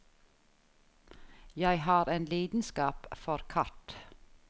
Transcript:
Jeg har en lidenskap for kart.